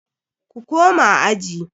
Ku koma aji.